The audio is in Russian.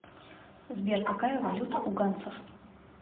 сбер какая валюта у ганцев